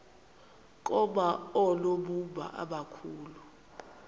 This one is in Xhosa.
koma oonobumba abakhulu